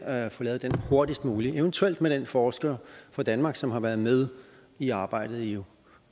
at få lavet den hurtigst muligt eventuelt med den forsker fra danmark som har været med i arbejdet i